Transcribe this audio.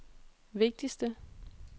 vigtigste